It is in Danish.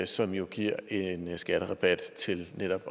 som jo giver en skatterabat til netop